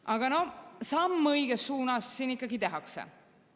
Aga noh, samm õiges suunas siin ikkagi tehakse.